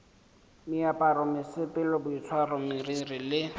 meaparo mesepelo boitshwaro meriri le